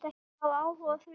Hafa áhuga á því.